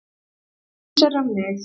Eins er um mig.